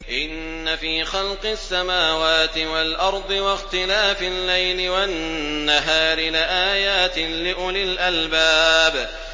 إِنَّ فِي خَلْقِ السَّمَاوَاتِ وَالْأَرْضِ وَاخْتِلَافِ اللَّيْلِ وَالنَّهَارِ لَآيَاتٍ لِّأُولِي الْأَلْبَابِ